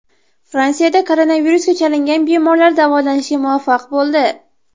Fransiyada koronavirusga chalingan bemorlar davolanishga muvaffaq bo‘ldi .